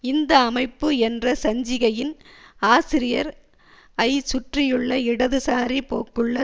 இந்த அமைப்பு என்ற சஞ்சிகையின் ஆசிரியர் ஐ சுற்றியுள்ள இடதுசாரி போக்குள்ள